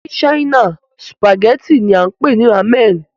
Ní China, sùpàgẹ́tì náà là ń pè ní Rámẹ̀nì